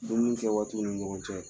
Dumuni kɛ waati ni ɲɔgɔn cɛ